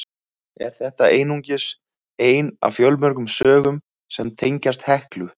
Er þetta einungis ein af fjölmörgum sögum sem tengjast Heklu.